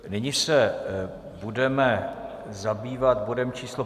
Nyní se budeme zabývat bodem číslo